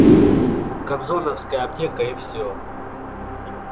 кобзоновская аптека и всё